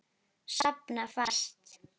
Sofna fast.